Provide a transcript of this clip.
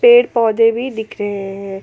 पेड़ पौधे भी दिख रहे हैं।